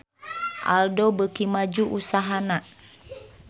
Aldo beuki maju usahana